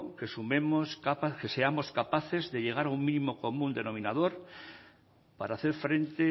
que seamos capaces de llegar a un mínimo común denominador para hacer frente